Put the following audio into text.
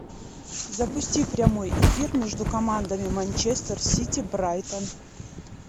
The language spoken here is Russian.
запусти прямой эфир между командами манчестер сити брайтон